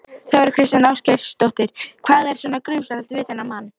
Þóra Kristín Ásgeirsdóttir: Hvað var svona grunsamlegt við þennan mann?